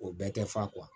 O bɛɛ tɛ fa